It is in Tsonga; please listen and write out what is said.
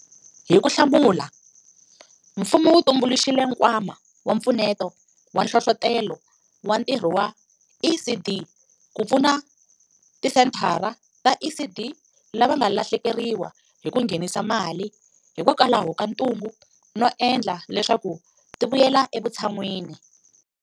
Hi ku hlamula, mfumo wu tumbuluxile Nkwama wa Mpfuneto wa Nhlohlotelo wa Ntirho wa ECD ku pfuna tisenthara ta ECD lava nga lahlekeriwa hi ku nghenisa mali hikokwalaho ka ntungu no endla leswaku tivuyela evu tshan'wini.